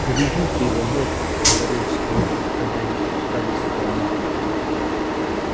берегите его мэтт говорил скотт когда они спускались с холма